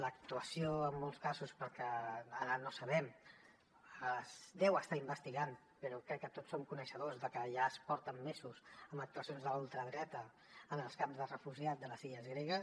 l’actuació en molts casos perquè ara no ho sabem es deu estar investigant però crec que tots som coneixedors de que ja es porten mesos d’actuacions de la ultradreta en els camps de refugiats de les illes gregues